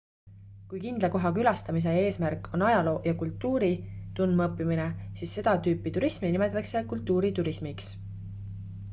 kui kindla koha külastamise eesmärk on ajaloo ja kultuuri tundmaõppimine siis seda tüüpi turismi nimetatakse kultuuriturismiks